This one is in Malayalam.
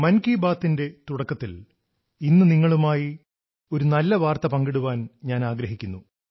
മൻ കീ ബാത്തിന്റെ തുടക്കത്തിൽ ഇന്ന് നിങ്ങളുമായി ഒരു നല്ല വാർത്ത പങ്കിടാൻ ഞാൻ ആഗ്രഹിക്കുന്നു